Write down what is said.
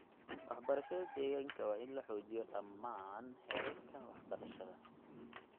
Waxbarashada deegaanka waa in la xoojiyo dhammaan heerarka waxbarashada.